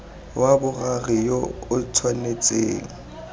wa boraro yo o tshwanetseng